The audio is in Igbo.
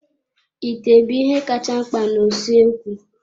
Ite bụ ihe kacha mkpa na usoekwu.